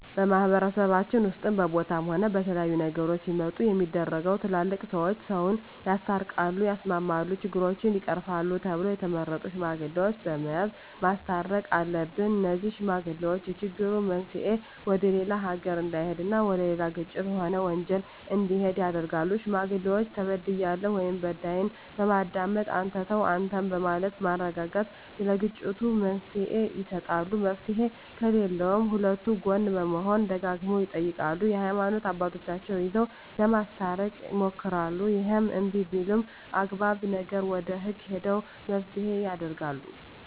በማህበረሰባችን ውስጥም በቦታም ሆነ በተለያዩ ነገሮች ሲመጡ ሚደረገው ትላልቅ ሰዎች ሰውን ያስታርቃል ያስማማሉ ችግሮችን ይቀርፋሉ ተብለው የተቀመጡ ሽማግሌዎች በመያዝ ማስተየቅ አሉብን እነዜህ ሽማግሌዎች የችግሩ መንሰየ ወደሌላ ነገር እዳሄድ እና ወደሌላ ግጭት ሆነ ወንጀል እንዲሄድ ያረጋሉ ሽማግሌዎች ተበድያለሁ ወይም በዳይን በማዳመጥ አንተ ተው አንተም በማለት በማረጋጋት ለግጭቱ መፍትሔ ይሰጣሉ መፍትሔ ከለለውም ከሁለቱ ጎን በመሆን ደጋግመው ይጠይቃሉ የሀይማኖት አባቶቻቸው ይዘው ለማስታረቅ ይሞክራሉ እሄም እንብይ ቢልም አግባብ ነገር ወደ ህግ ሄደው መፋተየ ያረጋሉ